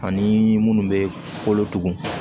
Ani munnu bɛ kolotugu